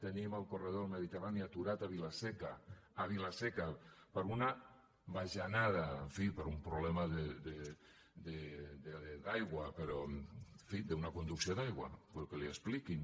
tenim el corredor del mediterrani aturat a vila seca a vila seca per una bajanada en fi per un problema d’aigua però en fi d’una conducció d’aigua potser que li ho expliquin